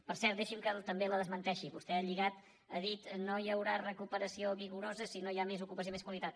per cert deixi’m que també la desmenteixi vostè ha lligat ha dit no hi haurà recuperació vigorosa si no hi ha més ocupació i més qualitat